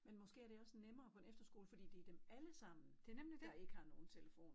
Men måske er det også nemmere på en efterskole fordi det dem allesammen der ikke har nogen telefon